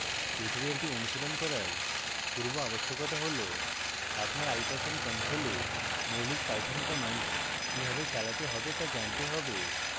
tutorial অনুশীলন করার পূর্বআবশ্যকতা হল